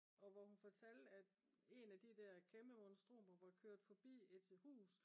og hvor hun fortalte at en af de der kæmpe monstrumer var kørt forbi et hus